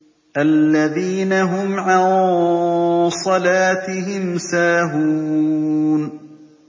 الَّذِينَ هُمْ عَن صَلَاتِهِمْ سَاهُونَ